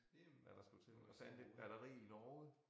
Hvad der skulle til og fandt et batteri i Norge